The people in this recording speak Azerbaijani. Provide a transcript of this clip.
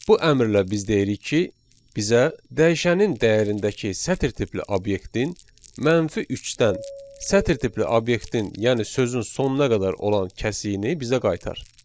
Bu əmrlə biz deyirik ki, bizə dəyişənin dəyərindəki sətir tipli obyektin -3-dən sətir tipli obyektin, yəni sözün sonuna qədər olan kəsiyini bizə qaytar.